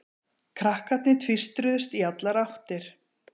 Krakkarnir tvístruðust í allar áttir.